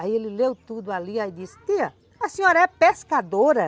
Aí ele leu tudo ali e disse, tia, a senhora é pescadora?